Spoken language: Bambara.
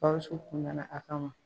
Gawusu kun nana a kama